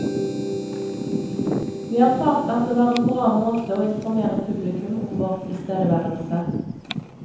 Vi erfarte at det var en bra måte å informere publikum om vår tilstedeværelse.